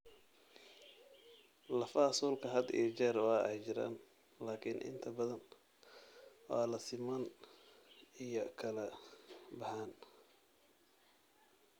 Lafaha suulka had iyo jeer waa ay jiraan laakiin inta badan waa la simaan iyo kala baxaan.